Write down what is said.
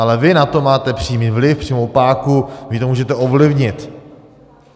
Ale vy na to máte přímý vliv, přímou páku, takže to můžete ovlivnit.